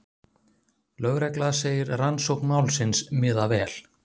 Lögregla segir rannsókn málsins miða vel